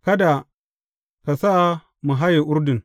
Kada ka sa mu haye Urdun.